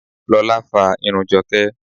Lola fa irun Joke.